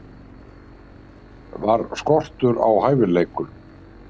Var skortur á hæfileikum?